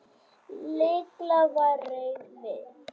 Lilla var reið við